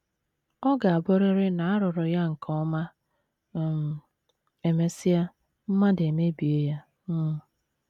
Ọ ga - abụrịrị na a rụrụ ya nke ọma um, e mesịa, mmadụ emebie ya um. ’